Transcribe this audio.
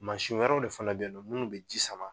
Mansin wɛrɛw de fana bɛyen nɔ minnu bɛ ji sama